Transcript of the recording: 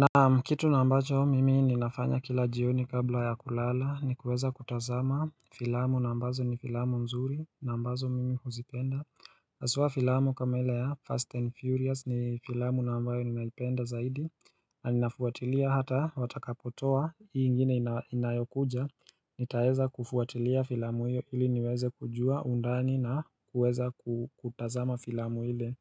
Naam kitu na ambacho mimi ninafanya kila jioni kabla ya kulala ni kuweza kutazama filamu na ambazo ni filamu nzuri na ambazo mimi huzipenda hasua filamu kama ila ya Fast and Furious ni filamu na ambayo ninaipenda zaidi na ninafuatilia hata watakapotoa hii ingine inayokuja nitaeza kufuatilia filamu hiyo ili niweze kujua undani na kuweza kutazama filamu ile